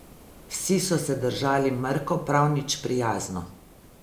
Vsi so se držali mrko, prav nič prijazno.